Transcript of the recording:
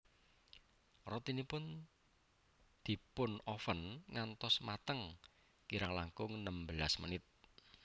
Rotinipun dipunoven ngantos mateng kirang langkung nembelas menit